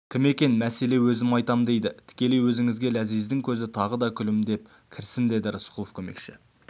кім екен мәселе өзім айтам дейді тікелей өзіңізге ләзиздің көзі тағы күлімдеді кірсін деді рысқұлов көмекші